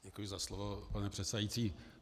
Děkuji za slovo, pane předsedající.